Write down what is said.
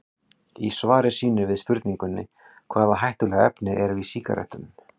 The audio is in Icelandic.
Í svari sínu við spurningunni Hvaða hættulegu efni eru í sígarettum?